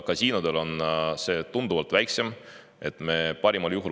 Kasiinodel on see tunduvalt väiksem.